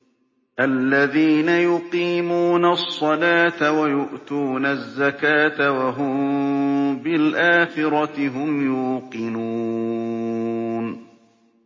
الَّذِينَ يُقِيمُونَ الصَّلَاةَ وَيُؤْتُونَ الزَّكَاةَ وَهُم بِالْآخِرَةِ هُمْ يُوقِنُونَ